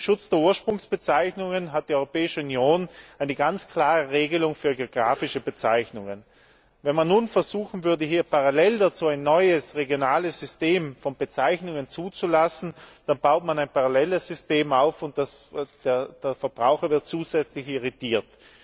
Mit dem Schutz der Ursprungsbezeichnungen hat die Europäische Union eine ganz klare Regelung für geografische Bezeichnungen. Wenn man nun versuchen würde, parallel dazu ein neues regionales System von Bezeichnungen zuzulassen, dann würde man ein paralleles System aufbauen und den Verbraucher damit zusätzlich irritieren.